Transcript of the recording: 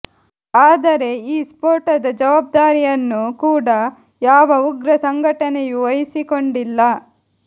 ಆದರೆ ಈ ಸ್ಫೋಟದ ಜವಾಬ್ದಾರಿಯನ್ನು ಕೂಡ ಯಾವ ಉಗ್ರ ಸಂಘಟನೆಯು ವಹಿಸಿಕೊಂಡಿಲ್ಲ